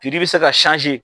Piri bɛ se ka